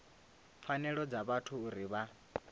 pfanelo dza vhathu uri vha